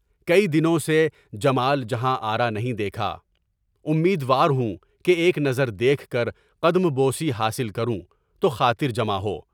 کئی دنوں سے جمال جہاں آرا نہیں دیکھا۔ امیدوار ہوں کہ ایک نظر دیکھ کر قدم بوسی حاصل کروں تو خاطر جمع ہو۔